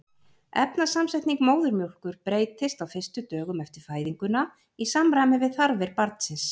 efnasamsetning móðurmjólkur breytist á fyrstu dögum eftir fæðinguna í samræmi við þarfir barnsins